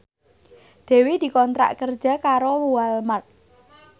Dewi dikontrak kerja karo Walmart